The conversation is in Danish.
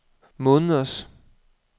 måneders